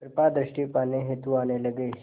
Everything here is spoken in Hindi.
कृपा दृष्टि पाने हेतु आने लगे